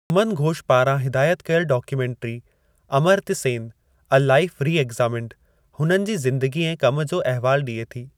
सुमन घोष पारां हिदायत कयलु documentary, 'Amartya Sen: a life reexamined' हुननि जी ज़िन्दगी ऐं कमु जो अहवालु डि॒ए थी।